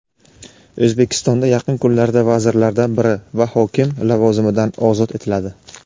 O‘zbekistonda yaqin kunlarda vazirlardan biri va hokim lavozimidan ozod etiladi.